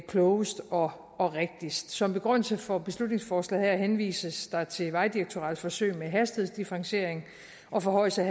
klogest og og rigtigst som begrundelse for beslutningsforslaget her henvises der til vejdirektoratets forsøg med hastighedsdifferentiering og forhøjelse